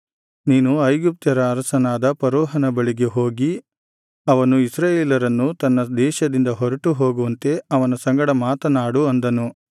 ನೀನು ಐಗುಪ್ತ್ಯರ ಅರಸನಾದ ಫರೋಹನ ಬಳಿಗೆ ಹೋಗಿ ಅವನು ಇಸ್ರಾಯೇಲರನ್ನು ತನ್ನ ದೇಶದಿಂದ ಹೊರಟು ಹೋಗುವಂತೆ ಅವನ ಸಂಗಡ ಮಾತನಾಡು ಅಂದನು